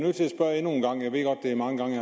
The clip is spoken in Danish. er mange gange